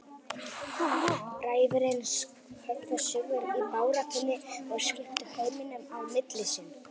Bræðurnir höfðu sigur í baráttunni og skiptu heiminum á milli sín.